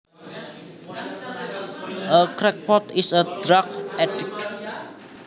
A crackpot is a drug addict